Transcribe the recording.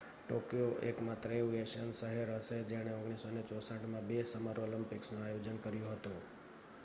Tokyo એકમાત્ર એવું Asian શહેર હશે જેણે 1964 માં બે સમર ઓલિમ્પિક્સનું આયોજન કર્યું હતું